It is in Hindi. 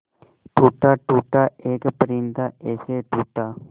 टूटा टूटा एक परिंदा ऐसे टूटा